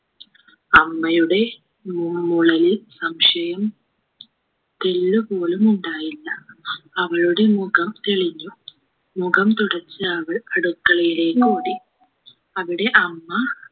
അമ്മയുടെ മു മൂളലിൽ സംശയം തെല്ലുപോലും ഉണ്ടായില്ല അവളുടെ മുഖം തെളിഞ്ഞു മുഖം തുടച്ച് അവൾ അടുക്കളയിലേക്ക് ഓടി അവിടെ അമ്മ